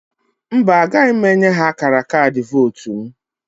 Mba, agaghị m enye ha akara kaadị vootu m.